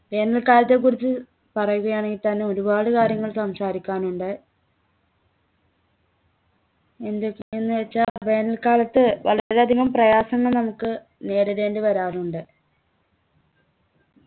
വേനൽക്കാലത്തെക്കുറിച്ച് പറയുകയാണെങ്കി തന്നെ ഒരുപാട് കാര്യങ്ങൾ സംസാരിക്കാനുണ്ട് എന്തുവെച്ചാ എന്നുവെച്ചാ വേനൽക്കാലത്ത് വളരെ അധികം പ്രയാസങ്ങൾ നമുക്ക് നേരിടേണ്ടി വരാറുണ്ട്